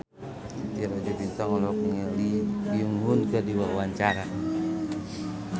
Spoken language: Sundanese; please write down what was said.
Titi Rajo Bintang olohok ningali Lee Byung Hun keur diwawancara